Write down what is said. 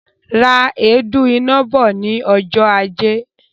Ra èédú iná bọ̀ ní ọjọ ajé